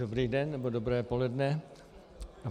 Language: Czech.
Dobrý den nebo dobré poledne.